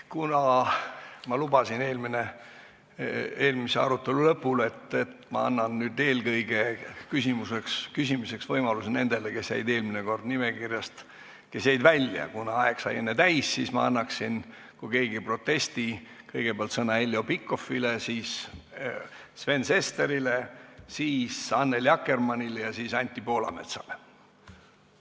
Kuna ma eelmise arutelu lõpul lubasin, et annan nüüd küsimiseks võimaluse eelkõige nendele, kes jäid eelmine kord nimekirjast välja, kuna aeg sai enne täis, siis ma annaksin – kui keegi ei protesti – kõigepealt sõna Heljo Pikhofile, siis Sven Sesterile, siis Annely Akkermannile ja siis Anti Poolametsale.